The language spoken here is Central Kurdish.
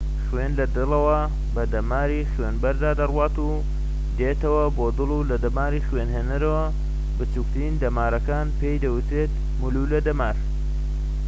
خوێن لە دڵەوە بە دەماری خوێنبەردا دەڕوات و دێتەوە بۆ دڵ لە دەماری خوێنهێنەرەوە بچوکترین دەمارەکان پێی دەوترێت مولولە دەمار